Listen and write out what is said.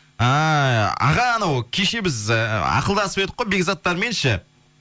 ааа аға анау кеше біз ы ақылдасып едік қой бекзаттармен ше